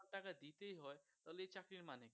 টাকা দিতেই হয় তাহলে এই চাকরির মানে কি